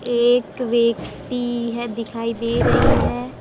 एक व्यक्ति है दिखाई दे रही है।